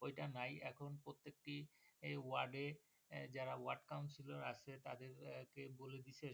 ঐটা নাই এখন প্রত্যেকটি ওয়ার্ড এ যারা ওয়ার্ড কাউন্সিলর আছে তাদের কে বলে দিচ্ছে